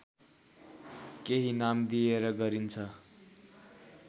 केही नाम दिएर गरिन्छ